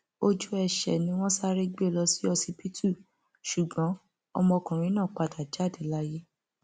ojú ẹsẹ ni wọn sáré gbé e lọ sí ọsibítù ṣùgbọn ọmọkùnrin náà padà jáde láyé